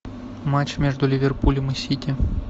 матч между ливерпулем и сити